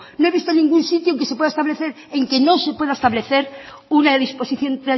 no he visto ningún sitio en que no se pueda establecer una disposición